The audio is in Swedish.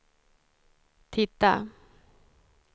titta